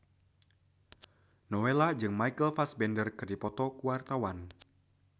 Nowela jeung Michael Fassbender keur dipoto ku wartawan